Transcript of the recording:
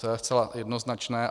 To je zcela jednoznačné.